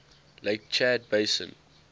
lake chad basin